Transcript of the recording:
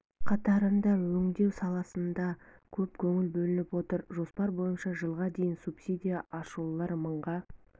қатарында өңдеу саласына да көп көңіл бөлініп отыр жоспар бойынша жылға дейін субсидия алушылар мыңға